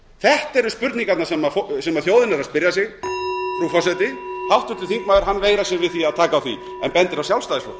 þetta eru spurningarnar sem þjóðin er að spyrja sig frú forseti háttvirtur þingmaður veigrar sér við því að taka á því en bendir á sjálfstæðisflokkinn